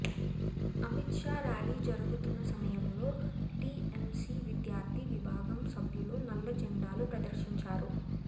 Amit Shah rally జరుగుతున్న సమయంలో TMC విద్యార్థి విభాగం సభ్యులు నల్ల జెండాలు ప్రదర్శించారు